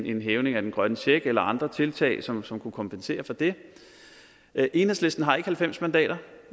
en hævning af den grønne check eller andre tiltag som som kunne kompensere for det enhedslisten har ikke halvfems mandater